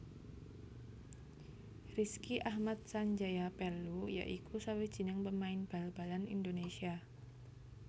Rizky Ahmad Sanjaya Pellu ya iku sawijining pemain bal balan Indonesia